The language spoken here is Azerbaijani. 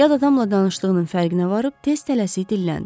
Yad adamla danışdığının fərqinə varıb tez tələsi dilləndi.